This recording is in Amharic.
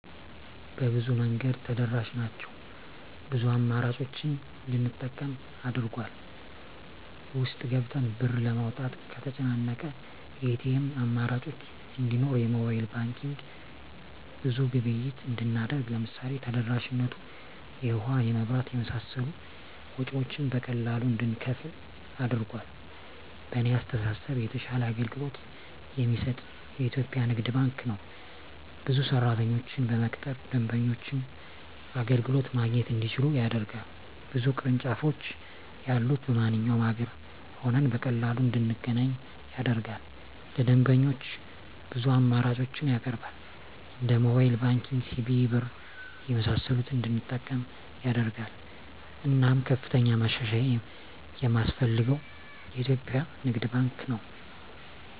በብዙ መንገድ ተደራሽ ናቸው ብዙ አማራጮችን እንድንጠቀም አድርጎል። ውስጥ ገብተን ብር ለማውጣት ከተጨናነቀ የኤቲኤም አማራጮች እንዲኖር የሞባይል ባንኪንግ ብዙ ግብይት እንድናደርግ ለምሳሌ ተደራሽነቱ የውሀ, የመብራት የመሳሰሉ ወጭወችን በቀላሉ እንድንከፍል አድርጓል። በእኔ አስተሳሰብ የተሻለ አገልግሎት የሚሰጥ የኢትዪጵያ ንግድ ባንክ ነው። ብዙ ሰራተኞችን በመቅጠር ደንበኞች አገልግሎት ማግኘት እንዲችሉ ያደርጋል። ብዙ ቅርንጫፎች ያሉት በማንኛውም አገር ሆነን በቀላሉ እንድናገኝ ያደርጋል። ለደንበኞች ብዙ አማራጮችን ያቀርባል እንደ ሞባይል ባንኪንግ, ሲቢኢ ብር , የመሳሰሉትን እንድንጠቀም ያደርጋል። እናም ከፍተኛ ማሻሻያ የማስፈልገው የኢትዮጵያ ንግድ ባንክ ነው።